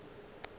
mo o bego o ka